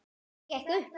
Allt gekk upp.